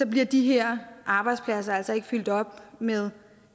bliver de her arbejdspladser altså ikke fyldt op med